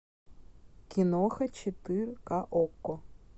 киноха четыре ка окко